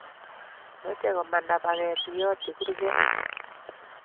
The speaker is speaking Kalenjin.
Meche komanda paket iyotyi kurget